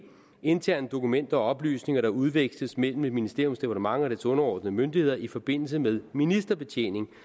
interne dokumenter og oplysninger der udveksles mellem et ministeriums departement og dets underordnede myndigheder i forbindelse med ministerbetjening